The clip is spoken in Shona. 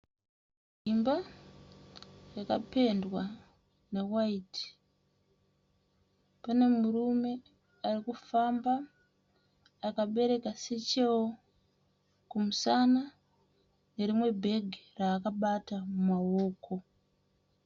Dzimba dzakapendwa ne waiti pane murume arikufamba akabereka Sechero kumusana anerimwe bhegi ravakabata mumaoko.